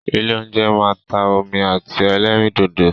Ilé óúnjẹ máa ń ta omi àti ẹlẹ́rìndòdò.